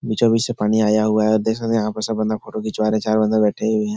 बीचों-बीच से पानी आया हुआ है। देख सकते है यहाँ पर सब बंदा फोटो खिचवा रहे है। चारो बंदा बैठे हुए है।